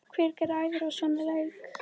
Hver græðir á svona leik?